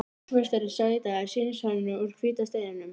Húsameistari sá í dag sýnishornin úr hvíta steininum.